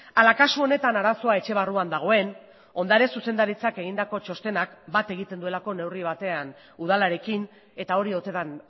ala kasu honetan arazoa etxe barruan dagoen ondare zuzendaritzak egindako txostenak bat egiten duelako neurri batean udalarekin eta hori ote den